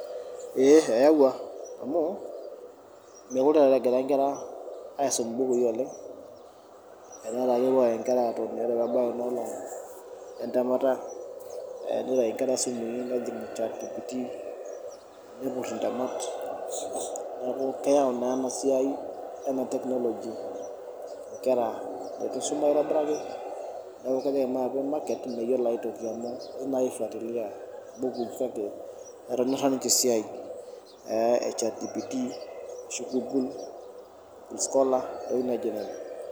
Ee neyawua amu meekure taata egira nkera aisum mbukui oleng etaa kepuo ake nkera aatoni ore pee ebau Ina olong, entemata , nitayu nkera simui nejing Chatgpt, nepur ntemat, neeku keyau naa ena siai, technology nkera, enkisuma aitobiraki neeku ore ejinga atua market meyiolo ajo etonyorra ninche esiai e Chatgpt ashu google ntokitin naijo nena.